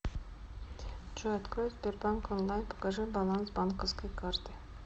джой открой сбербанк онлайн покажи баланс банковской карты